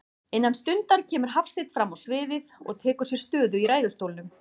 Innan stundar kemur Hafsteinn frammá sviðið og tekur sér stöðu í ræðustólnum.